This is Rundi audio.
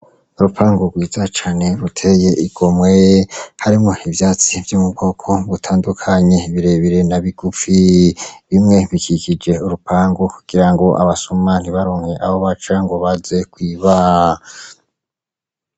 Urupangu rwiza cane ruteye igomwe harimwo ivyatsi vyo mu bwoko butandukanye birebire na bigufi , bimwe bikikije urupangu kugira ngo abasuma ntibaronke Aho baca ngo baze kwiba .